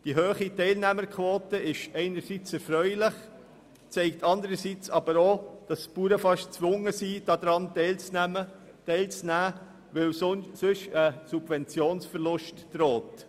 Die hohe Teilnehmerquote ist einerseits erfreulich, zeigt anderseits aber auch, dass die Bauern beinahe gezwungen sind, daran teilzunehmen, weil sonst ein Subventionsverlust droht.